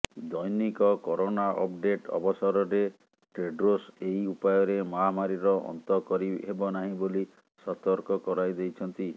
ଦୈନିକ corona update ଅବସରରେ Tedros ଏହି ଉପାୟରେ ମହାମାରୀର ଅନ୍ତ କରିହେବ ନାହିଁ ବୋଲି ସତର୍କ କରାଇଦେଇଛନ୍ତି